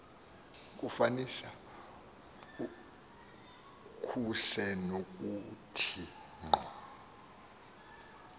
kufanisa kusenokuthi ngqo